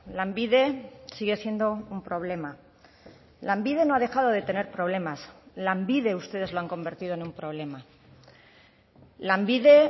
lanbide sigue siendo un problema lanbide no ha dejado de tener problemas lanbide ustedes lo han convertido en un problema lanbide